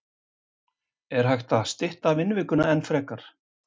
Er hægt að stytta vinnuvikuna enn frekar?